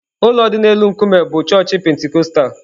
Ụlọ dị n'elu nkume bụ chọọchị Pentikọstal.